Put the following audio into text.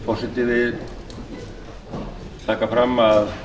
forseti vill taka fram að